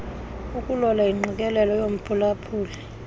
ukulola ingqikelelo yomphulaphuli